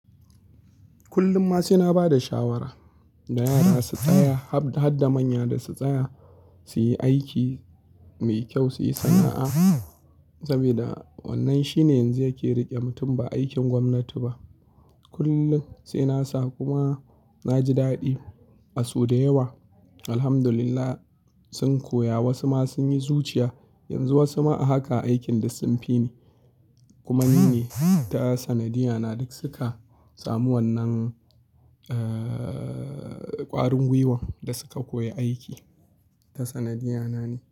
Kullum ma saina ba da shawara da yara su tsaya, haɗ da manya da su tsaya su yi aiki mai kyau, su yi sana'a. Saboda wannan shine yanzu yake riƙe mutum ba aikin gwamnati ba. Kullun sai nasa kuma na ji daɗi. A su da yawa Alhamdulillah sun koya, wasu ma sun yi zuciya. Yanzu wasu ma haka aikin da sun fi ni kuma ni ne ta sanadiyya na duk suka samu wannan, eh, ƙwarin gwiwan da suka koyi aiki ta sanadiyya na ne.